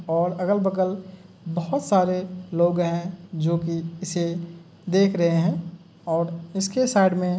और अगल-बगल बहोत सारे लोग हैं जो कि इसे देख रहे हैं और इसके साइड में --